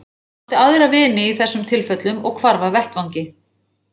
Hann átti aðra vini í þessum tilfellum og hvarf af vettvangi.